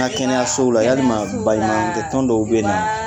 An ka kɛnɛyasow la yalima baɲumankɛ tɔn dɔw bɛ ye nɔn